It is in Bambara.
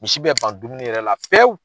Misi bɛ ban dumuni yɛrɛ la pewu.